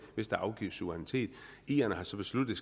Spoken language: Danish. hvis der afgives suverænitet irerne har så besluttet